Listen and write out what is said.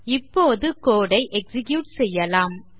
இப்போது code ஐ execute செய்யலாம்